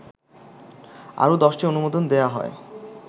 আরো ১০টি অনুমোদন দেয়া হয়